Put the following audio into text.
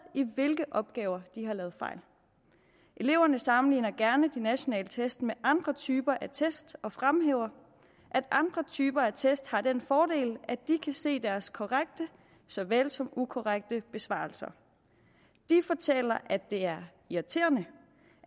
i hvilke opgaver de har lavet fejl eleverne sammenligner gerne nationale test med andre typer af test og fremhæver at andre typer af test har den fordel at de kan se deres korrekte såvel som ukorrekte besvarelser de fortæller at det er irriterende